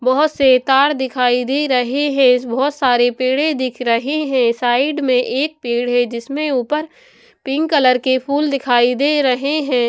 बहुत से तार दिखाई दे रहे हैं बहुत सारे पेड़े दिख रहे हैं साइड में एक पेड़ है जिसमें ऊपर पिंक कलर के फूल दिखाई दे रहे हैं।